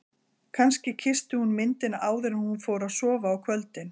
Kannski kyssti hún myndina áður en hún fór að sofa á kvöldin.